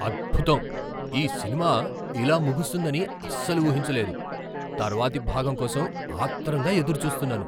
అద్భుతం! ఈ సినిమా ఇలా ముగుస్తుందని అస్సలు ఊహించలేదు. తర్వాతి భాగం కోసం ఆత్రంగా ఎదురుచూస్తున్నాను.